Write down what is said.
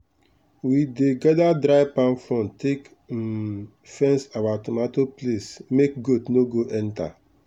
we dey gather dry palm fronds take um fence our tomato place make goat no go enter.